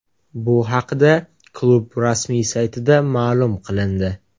Bu haqida klub rasmiy saytida ma’lum qilindi .